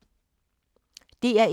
DR1